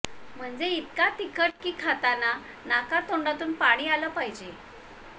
म्हणजे इतका तिखट की खाताना नाकातोंडातून पाणी आलं पाहिजे